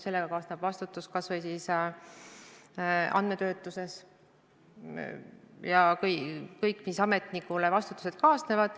Sellega kaasneb vastutus kas või andmetöötluses, pluss kõik muud vastutused, mis ametnikutööga kaasnevad.